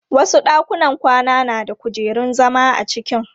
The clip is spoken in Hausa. Wasu ɗakunan kwana na da kujerun zama a cikin.